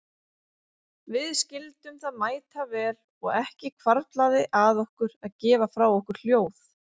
Við skildum það mætavel og ekki hvarflaði að okkur að gefa frá okkur hljóð.